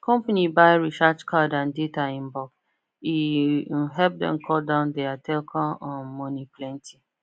company buy recharge card and data in bulk e um help dem cut down their telecom um money plenty